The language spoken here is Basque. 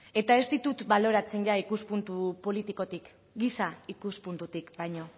eta ez ditut baloratzen ikuspuntu politikotik giza ikuspuntutik baino